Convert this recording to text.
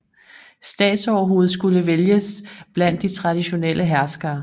Statsoverhovedet skulle vælges blandt de traditionelle herskere